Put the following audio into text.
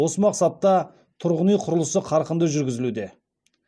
осы мақсатта тұрғын үй құрылысы қарқынды жүргізілуде